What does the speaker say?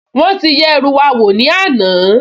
Wọ́n ti yẹ ẹrú wa wò ní àná